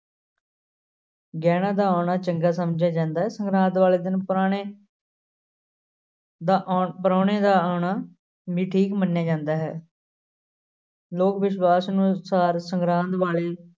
ਗਹਿਣਾਂ ਦਾ ਆਉਣਾ ਚੰਗਾ ਸਮਝਿਆ ਜਾਂਦਾ ਹੈ, ਸੰਗਰਾਂਦ ਵਾਲੇ ਦਿਨ ਪੁਰਾਣੇ ਦਾ ਆਉਣ~ ਪਰਾਹੁਣੇ ਦਾ ਆਉਣਾ ਵੀ ਠੀਕ ਮੰਨਿਆ ਜਾਂਦਾ ਹੈ ਲੋਕ ਵਿਸ਼ਵਾਸ ਨੂੰ ਅਨੁਸਾਰ ਸੰਗਰਾਂਦ ਵਾਲੇ